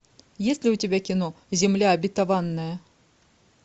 есть ли у тебя кино земля обетованная